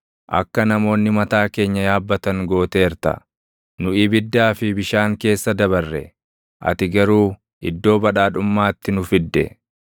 Akka namoonni mataa keenya yaabbatan gooteerta; nu ibiddaa fi bishaan keessa dabarre; ati garuu iddoo badhaadhummaatti nu fidde.